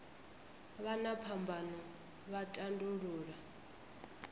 vha na phambano vha tandulula